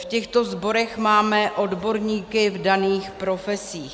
V těchto sborech máme odborníky v daných profesích.